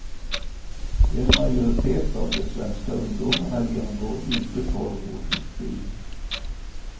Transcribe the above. En majoritet av de svenska ungdomarna genomgår inte tolv års utbildning.